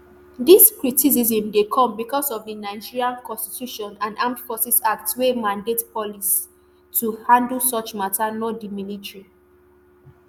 dis criticism dey come becos of di nigerian constitution and armed forces act wey mandate police to handle such mata not di military